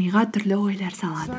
миға түрлі ойлар салады